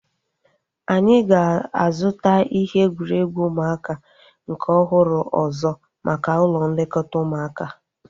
Anyị ga-azuta ihe egwuregwu ụmụaka nke ọhụrụ ọzọ maka ụlọ nlekọta ụmụaka